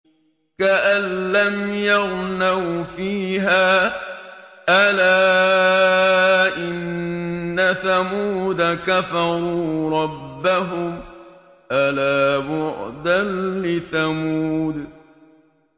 كَأَن لَّمْ يَغْنَوْا فِيهَا ۗ أَلَا إِنَّ ثَمُودَ كَفَرُوا رَبَّهُمْ ۗ أَلَا بُعْدًا لِّثَمُودَ